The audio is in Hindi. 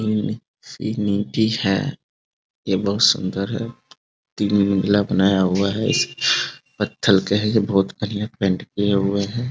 इंफिनिटी है। ये बहुत सुन्दर है। तीन मंजिला बनाया हुआ है। इस पत्थल का है ये बहुत बढ़िया पेंट किया हुआ है।